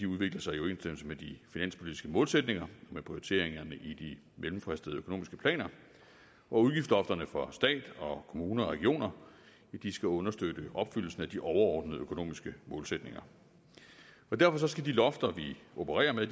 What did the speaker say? udvikler sig i overensstemmelse med de finanspolitiske målsætninger med prioriteringerne i de mellemfristede økonomiske planer og udgiftslofterne for stat kommuner og regioner skal understøtte opfyldelsen af de overordnede økonomiske målsætninger derfor skal de lofter vi opererer med